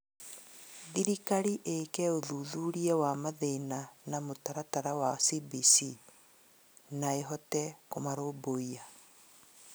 Thirikari ĩke uthuthuria wa mathĩna na mũtaratara wa CBC na ĩhote kũmarũmbũiya